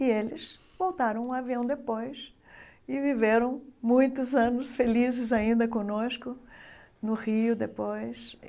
E eles voltaram um avião depois e viveram muitos anos felizes ainda conosco no Rio depois.